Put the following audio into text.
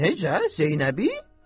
Necə Zeynəbi?